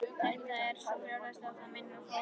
Þetta er svo brjálæðislegt að það minnir á fórn.